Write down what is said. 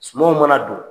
Sumanw mana don